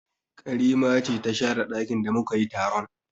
Karima ce ta share ɗakin da mu ka yi taron